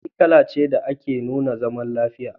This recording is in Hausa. Fari kala ce da take nuna zaman lafiya.